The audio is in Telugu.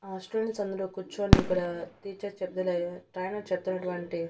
ఆ స్టూడెంట్స్ అందరూ కూర్చొని ఇక్కడ టీచర్ చెబ్దులే ట్రైనర్ చెప్తున్నటువంటి--